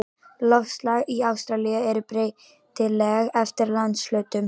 Loftslag í Ástralíu er breytilegt eftir landshlutum.